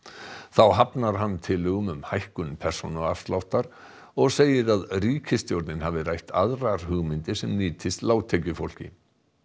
þá hafnar hann tillögum um hækkun persónuafsláttar og segir að ríkisstjórnin hafi rætt aðrar hugmyndir sem nýtist lágtekjufólki